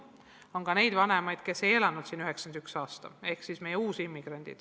On ka neid vanemaid, kes ei elanud siin 1991. aastal, nemad on meie uusimmigrandid.